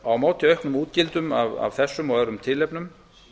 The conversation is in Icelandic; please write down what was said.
á móti auknum útgjöldum af þessum og öðrum tilefnum